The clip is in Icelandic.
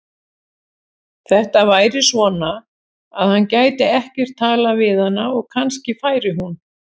Þetta væri svona, að hann gæti ekkert talað við hana og kannski færi hún.